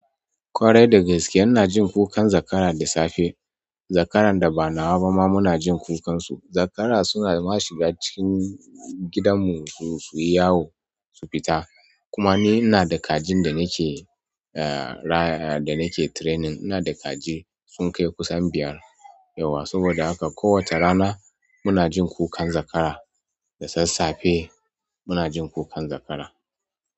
Ƙwarai da gaske ina jin kukan zakara da safe. Zakaran da ba nawa ba ma muna jin kukansu. Zakara suna ma shiga cikin gidanmu suyi yawo su fita. Kuma ni ina da kajin da nake raya, da nake training ina da kaji sun kai kusan biyar yauwa. Saboda haka ko wacce rana muna jin kukan zakara. Da sassafe muna jin kukan zakara.